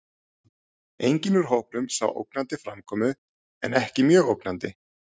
Enginn úr hópunum sá ógnandi framkomu en ekki mjög ógnandi.